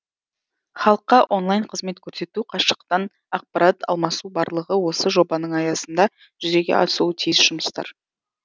халыққа онлайн қызмет көрсету қашықтан ақпарат алмасу барлығы осы жобаның аясында жүзеге асуы тиіс жұмыстар